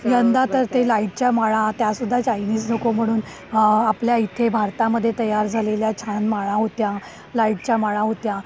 यंदा तर ते लाइटच्या माळा, त्यासुद्धा चायनीज नको म्हणून आपल्या इथे भारतामध्ये तयार झालेल्या छान माळा होत्या. लाइटच्या माळा होत्या.